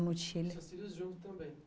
No chile e o seus filhos juntos também?